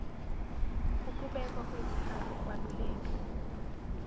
ukubekwa kwezikhali ukwaluleka